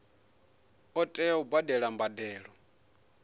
ḓo tea u badela mbadelo